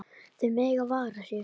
Þau mega vara sig.